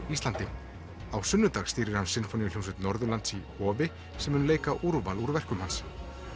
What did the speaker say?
Íslandi á sunnudag stýrir hann Sinfóníuhljómsveit Norðurlands í Hofi sem mun leika úrval úr verkum hans